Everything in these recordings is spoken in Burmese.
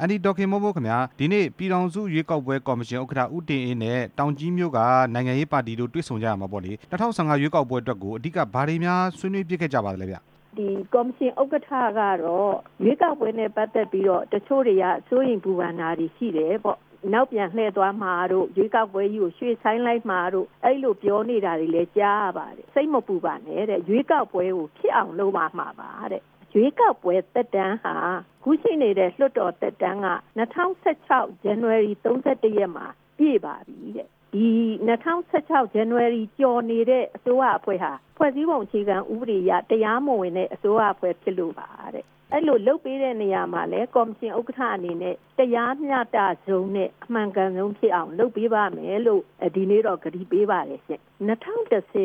အန်တီဒေါ်ခင်မိုးမိုးခင်ဗျ ဒီနေ့ပြည်ထောင်စုရွေးကောက်ပွဲကော်မရှင် ဥက္ကဌ ဦးတင်အေး နဲ့ တောင်ကြီးမြို့က နိုင်ငံရေးပါတီတို့ တွေ့ဆုံကြရာမှာပေါ့လေ ၂ဝ၁၅ ရွေးကောက်ပွဲအတွက်ကို ဘာတွေ များဆွေးနွေးဖြစ်ခဲ့ကြလဲဗျ။ ကော်မရှင်ဥက္ကဌကတော့ ရွေးကောက်ပွဲနဲ့ပတ်သက်ပြီးတော့ တစ်ချို့တွေက စိုးရိမ်ပူပန် တာတွေရှိတယ်ပေါ့၊ နောက်ပြန်လှည့်သွားမှာတို့၊ ရွေးကောက်ပွဲကြီးကို ရွေ့ဆိုင်းလိုက်မှာတို့ အဲ့လိုပြောနေတာတွေ လည်း ကြားရပါတယ်၊ စိတ်မပူပါနဲ့တဲ့ ရွေးကောက်ပွဲကို ဖြစ်အောင်လုပ်မှာပါတဲ့၊ ရွေးကောက်ပွဲသက်တမ်းဟာ အခုလွှတ်တော်သက်တမ်းက ၂ဝ၁၆ ဇန်နဝါရီ ၃၁ ရက်မှာပြည့်ပါပြီတဲ့၊ ဒီ ၂ဝ၁၆ ဇန်နဝါရီကျော်နေတဲ့ အစိုးရအဖွဲ့ဟာ ဖွဲ့စည်းပုံအခြေခံဥပဒေအရ တရားမဝင်တဲ့ အစိုးရအဖွဲ့ဖြစ်လို့ပါတဲ့၊ အဲ့လိုလုပ်ပေးတဲ့နေရာမှာလည်း ကော်မရှင်ဥက္ကဌ အနေနဲ့ တရားမျှတဆုံးနဲ့ အမှန်ကန်ဆုံးဖြစ်အောင် လုပ်ပေးပါ့မယ်လို့ ဒီနေ့တော့ ကတိပေးပါတယ်ရှင့်၊ ၂ဝ၁ဝ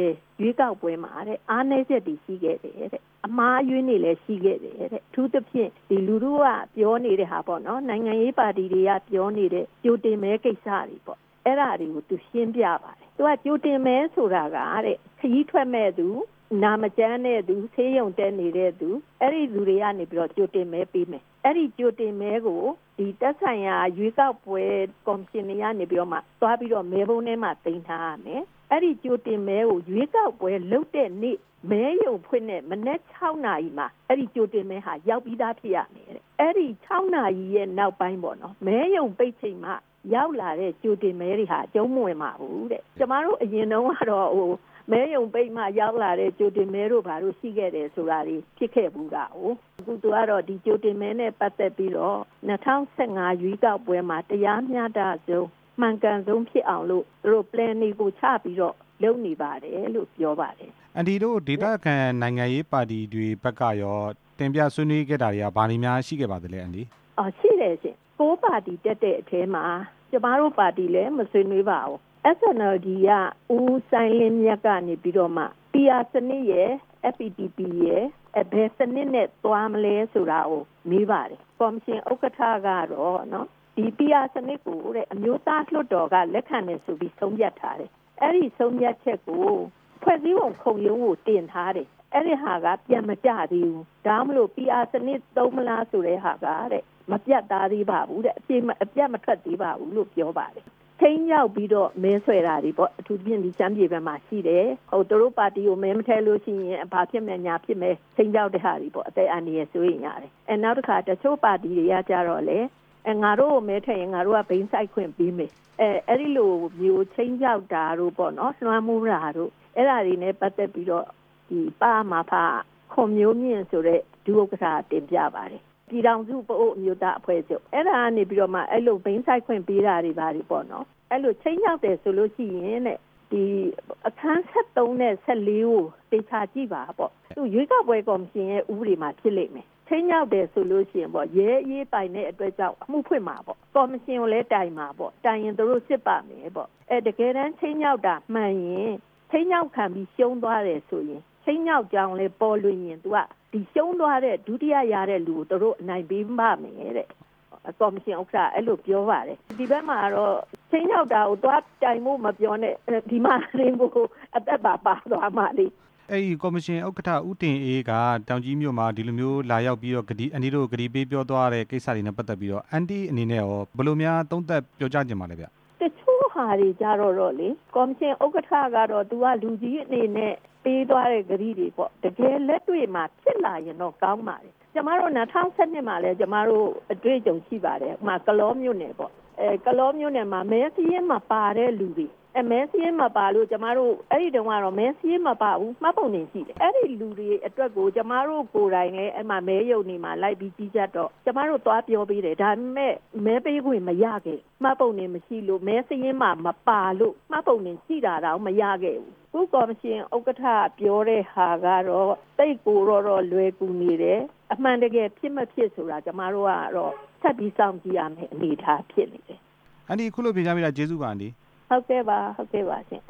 ရွေးကောက်ပွဲမှာ အားနည်းချက်တွေရှိခဲ့တယ်တဲ့၊ အမှားအယွင်းတွေလည်းရှိခဲ့တယ်တဲ့၊ အထူးသဖြင့် လူထုကပြောနေတဲ့ဟာပေါ့နော် နိုင်ငံရေးပါတီတွေကပြောနေတဲ့ ကြိုတင်မဲကိစ္စတွေပေါ့၊ အဲ့ဒါတွေကို သူရှင်းပြပါတယ်၊ သူကကြိုတင်မဲဆိုတာကတဲ့ ခရီးထွက်မယ့်သူ၊ နာမကျန်းတဲ့သူ၊ ဆေးရုံတက်နေတဲ့သူ၊ အဲ့ဒီလူတွေကနေပြီးတော့ ကြိုတင်မဲပေးမယ်၊ ကြိုတင်မဲကို သက်ဆိုင်ရာ ရွေးကောက်ပွဲကော်မရှင်တွေကနေပြီးမှ သွားပြီးတော့မဲပုံးထဲမှာ သိမ်းထားရမယ်၊ အဲ့ဒီကြိုတင်မဲကို ရွေးကောက်ပွဲလုပ်တဲ့နေ့ မဲရုံဖွင့်တဲ့မနက် ၆ နာရီမှာ အဲ့ဒီကြိုတင်မဲဟာရောက် ပြီးသားဖြစ်ရမယ်တဲ့၊ အဲ့ဒီ ၆ နာရီရဲ့နောက်ပိုင်းပေါ့နော် မဲရုံပိတ်ချိန်မှရောက်လာတဲ့ ကြိုတင်မဲတွေဟာ အကျုံး မဝင်ပါဘူးတဲ့၊ ကျမတို့ အရင်တုန်းကတော့ မဲရုံပိတ်မှရောက်လာတဲ့ ကြိုတင်မဲတို့ဘာတို့ ရှိခဲ့တယ်ဆိုတာတွေ ဖြစ် ခဲ့ဖူးတာကိုး၊ သူကတော့ ဒီကြိုတင်မဲနဲ့ပတ်သက်ပြီးတော့ ၂ဝ၁၅ ရွေးကောက်ပွဲမှာ တရားမျှတဆုံး၊ အမှန်ကန် ဆုံးဖြစ်အောင်လို့ သူတို့အစီအစဉ်တွေချပြီးတော့ လုပ်နေပါတယ်လို့ ပြောပါတယ်။ အန်တီတို့ ဒေသခံနိုင်ငံရေးပါတီတွေဘက်ကရော တင်ပြဆွေးနွေးခဲ့တာတွေရော ဘာတွေများရှိပါသလဲ အန်တီ။ ရှိတယ်ရှင့် ၉ ပါတီတက်တဲ့အထဲမှာ ကျမတို့ပါတီလည်း မဆွေးနွေးပါဘူး၊ SNLD က ဦးစိုင်းလင်းမြတ်ကနေပြီးတော့မှ PR စနစ်ရယ်၊ FPTP ဘယ်စနစ်နဲ့သွားမလဲဆိုတာကို မေးပါတယ်၊ ကော်မရှင် ဥက္ကဌကတော့ ဒီ PR စနစ်ကို လက်ခံတယ်ဆိုပြီး အမျိုးသားလွှတ်တော်က ဆုံးဖြတ်ထားတယ်၊ အဲ့ဒီဆုံးဖြတ်ချက်ကို ဖွဲ့စည်းပုံခုံရုံးကိုတင်ထားတယ်၊အဲ့ဒီဟာက ပြန်မကျသေးဘူး၊ ဒါကြောင့်မို့လို့ PR စနစ်သုံးမလားဆိုတဲ့ဟာက မပြတ်သားသေးပါဘူးတဲ့၊ အပြတ်မထွက်သေးပါဘူးလို့ ပြောပါတယ်၊ ခြိမ်းခြောက်ပြီးတော့မဲဆွယ်တာတွေပေါ့ အထူးသဖြင့် ရှမ်းပြည်ဘကမှာရှိတယ်၊ သူတို့ပါတီကို မဲမထည့်လို့ရှိရင် ဘာဖြစ်မယ်လာဖြစ်မယ် ခြိမ်းခြောက်တဲ့ ဟာတွေပေါ့၊ အသက်အန္တရာယ်စိုးရိမ်ရတယ်၊ နောက်တစ်ခါ တစ်ချို့ပါတီတွေကကျတော့လည်း ငါတို့ကိုမဲထည့်ရင် ငါတို့က ဘိန်းစိုက်ခွင့်ပေးမယ်၊ အဲ့ဒီလိုမျိုး ခြိမ်းခြောက်တာပေါ့နော်၊ လွှမ်းမိုးတာတို့ အဲ့ဒါတွေနဲ့ပတ်သက်ပြီးတော့ ပ.အ.မ.ဖ က ခွန်မျိုးမြင့်ဆိုတဲ့ ဒုဥက္ကဌက တင်ပြပါတယ်၊ ပြည်ထောင်စု ပအိုဝ်းအမျိုးသားအဖွဲ့ချုပ်ကနေပြီတော့မှ အဲ့လိုဘိန်းစိုက်ခွင့် ပေးတာတွေပါတွေပေါ့နော်၊ အဲ့လိုခြိမ်းခြောက်တယ်ဆိုလို့ရှိရင်တဲ့ အခန်း နဲ့ ကိုသေချာ ကြည့်ပါပေါ့၊ ရွေးကောက်ပွဲကော်မရှင်ရဲ့ ဥပဒေမှာဖြစ်လိမ့်မယ်၊ ခြိမ်းခြောက်တယ်ဆိုလို့ရှိရင်ပေါ့ ရဲအရေးပိုင်တဲ့ အတွက်ကြောင့် အမှုဖွင့်ပါပေါ့၊ ကော်မရှင်ကိုလည်းတိုင်ပါ၊ တိုင်ရင်သူတို့စစ်ပါ့မယ်ပေါ့၊ တကယ်တမ်းခြိမ်းခြောက်တာ မှန်ရင် ခြိမ်းခြောက်ခံပြီး ရှုံးသွားတယ်ဆိုရင် ခြိမ်းခြောက်ကြောင်းလည်း ပေါ်လွင်ရင် သူကရှုံးသွားတဲ့ ဒုတိယရတဲ့လူကို သူတို့အနိုင်ပေးပါ့မယ်တဲ့၊ ကော်မရှင်ဥက္ကဌက အဲ့လိုပြောပါတယ်၊ ဒီဘက်မှာကတော့ ခြိမ်းခြောက်တာကို သွားတိုင်ဖို့ မပြောနဲ့ ဒီမှာတင် သူသူကိုယ်ကိုယ် အသက်ပါပါသွားမှာလေ။ အဲ့ဒီကော်မရှင်ဥက္ကဌ ဦးတင်အေးက တောင်ကြီးမြို့မှာ ဒီလိုမျိုးလာရောက်ပြီးတော့ အန်တီ တို့ကိုကတိပေးပြောသွားတဲ့ ကစ္စတွေနဲ့ပတ်သက်ပြီးတော့ အန်တီ့အနေနဲ့ကရော ဘယ်လိုမျိုးသုံးသပ်ပြောကြားချင်ပါ သလဲဗျ။ တစ်ချို့ဟာတွေကျတော့လေ ကော်မရှင်ဥက္ကဌကတော့ သူကလူကြီးအနေနဲ့ ပေးသွားတဲ့ ကတိတွေပေါ့၊ တကယ်လက်တွေ့မှာ ဖြစ်လာရင်တော့ကောင်းပါတယ်၊ ကျမတို့ ၂ဝ၁၂ မှာလည်း ကျမတို့အတွေ့အကြုံ ရှိပါတယ်၊ ဥပမာ ကလောမြို့နယ်ပေါ့ ကလောမြို့နယ်မှာ မဲစာရင်းမပါတဲ့လူတွေ၊ မဲစာရင်းမပါလို့ ကျမတို့ အဲ့ဒီတုန်း ကတော့ မဲစာရင်းမပါဘူး၊ မှတ်ပုံတင်ရှိတယ်၊ အဲ့ဒီလူတွေအတွက်ကို ကျမတို့ကိုယ်တိုင်လည်း မဲရုံတွေမှာလိုက်ပြီး ကြီးကြပ်တော့ ကျမတို့သွားပြောပေးတယ်၊ ဒါပေမယ့် မဲပေးခွင့်မရခဲ့ဘူး၊ မှတ်ပုံတင်မရှိလို့ မဲစာရင်းမပါလို့ မှတ်ပုံတင်ရှိ တာတောင် မရခဲ့ဘူး၊ အခုကော်မရှင်ဥက္ကဌ ပြောတဲ့ဟာကတော့ သိပ်ကိုတော့လွယ်ကူနေတယ်၊ အမှန်တကယ်ဖြစ် မဖြစ်ဆိုတာ ကျမတို့ကတော့ ဆက်ပြီးစောင့်ကြည့်ရမယ့်အနေအထား ဖြစ်နေတယ်။ အန်တီ အခုလိုဖြေကြားပေးတာ ကျေးဇူးပါအန်တီ။ ဟုတ်ကဲ့ပါ၊ ဟုတ်ကဲ့ပါရှင့်